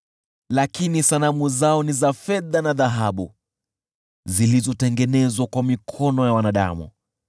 Lakini sanamu zao ni za fedha na dhahabu, zilizotengenezwa kwa mikono ya wanadamu.